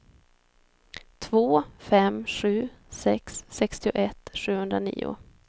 två fem sju sex sextioett sjuhundranio